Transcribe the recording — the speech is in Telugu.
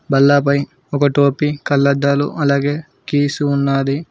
బల్లపై ఒక టోపీ కళ్లద్దాలు అలాగే కీస్ ఉన్నది.